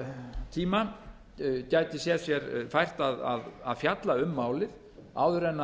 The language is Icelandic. sumartíma gæti séð sér fært að fjalla um málið áður en